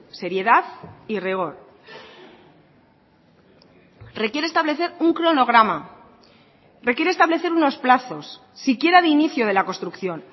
seriedad y rigor requiere establecer un cronograma requiere establecer unos plazos siquiera de inicio de la construcción